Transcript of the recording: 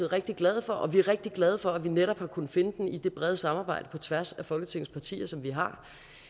rigtig glade for og vi er rigtig glade for at vi netop har kunnet finde den i det brede samarbejde på tværs af folketingets partier som vi har